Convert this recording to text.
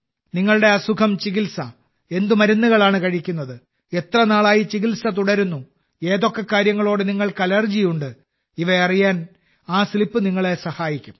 നിങ്ങളുടെ അസുഖം ചികിത്സ എന്ത് മരുന്നുകളാണ് കഴിക്കുന്നത് എത്ര നാളായി ചികിത്സ തുടരുന്നു ഏതൊക്കെ കാര്യങ്ങളോട് നിങ്ങൾക്ക് അലർജിയുണ്ട ഇവ അറിയാൻ ആ സ്ലിപ്പ് നിങ്ങളെ സഹായിക്കും